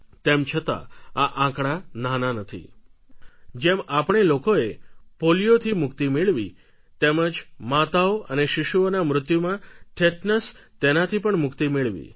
તેમ છતાં આ આંકડા નાના નથી જેમ આપણે લોકોએ પોલીયોથી મુક્તિ મેળવી તેમ જ માતાઓ અને શિશુઓના મૃત્યુમાં ટિટેનસ તેનાથી પણ મુક્તિ મેળવી